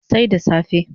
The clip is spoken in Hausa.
Sai da safe